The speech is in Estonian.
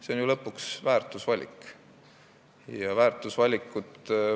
See on ju lõpuks väärtusvalik.